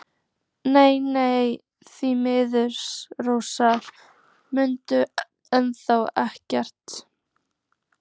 En nei, því miður, Rósa mundi enn þá ekkert.